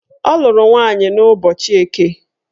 Ọ lụrụ nwaanyị n'ụbọchị Eke